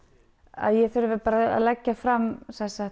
að ég þurfi bara að leggja fram